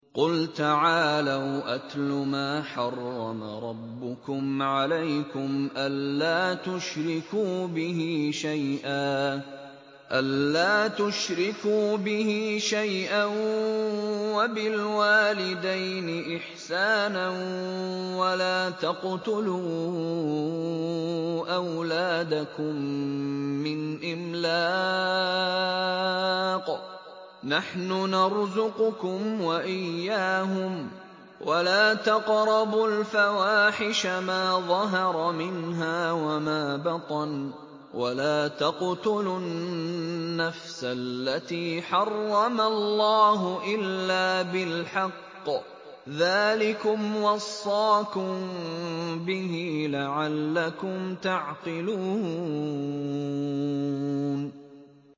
۞ قُلْ تَعَالَوْا أَتْلُ مَا حَرَّمَ رَبُّكُمْ عَلَيْكُمْ ۖ أَلَّا تُشْرِكُوا بِهِ شَيْئًا ۖ وَبِالْوَالِدَيْنِ إِحْسَانًا ۖ وَلَا تَقْتُلُوا أَوْلَادَكُم مِّنْ إِمْلَاقٍ ۖ نَّحْنُ نَرْزُقُكُمْ وَإِيَّاهُمْ ۖ وَلَا تَقْرَبُوا الْفَوَاحِشَ مَا ظَهَرَ مِنْهَا وَمَا بَطَنَ ۖ وَلَا تَقْتُلُوا النَّفْسَ الَّتِي حَرَّمَ اللَّهُ إِلَّا بِالْحَقِّ ۚ ذَٰلِكُمْ وَصَّاكُم بِهِ لَعَلَّكُمْ تَعْقِلُونَ